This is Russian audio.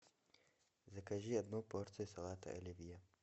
закажи одну порцию салата оливье